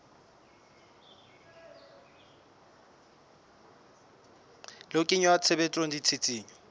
le ho kenya tshebetsong ditshisinyo